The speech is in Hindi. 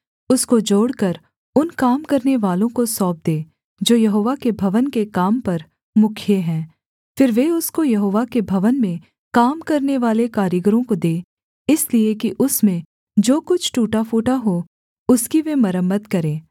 उसको जोड़कर उन काम करानेवालों को सौंप दे जो यहोवा के भवन के काम पर मुखिए हैं फिर वे उसको यहोवा के भवन में काम करनेवाले कारीगरों को दें इसलिए कि उसमें जो कुछ टूटा फूटा हो उसकी वे मरम्मत करें